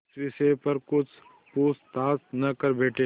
इस विषय पर कुछ पूछताछ न कर बैठें